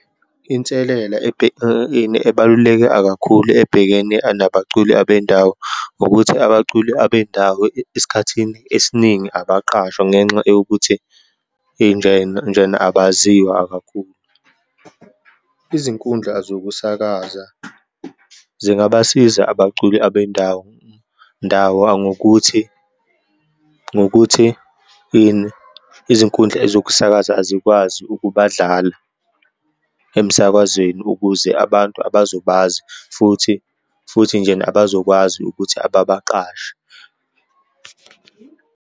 Inselela ini ebaluleke akakhulu ebhekene anabaculi abendawo, ukuthi abaculi abendawo esikhathini esiningi abaqashwa ngenxa yokuthi injena, njena abaziwa kakhulu. Izinkundla zokusakaza zingabasiza abaculi abendawo ngokuthi, ngokuthi, ini izinkundla ezokusakaza azikwazi ukubadlala emsakazweni ukuze abantu abazobazi, futhi, futhi njena abazokwazi ukuthi ababaqashe.